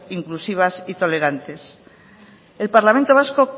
inclusivas y tolerantes el parlamento vasco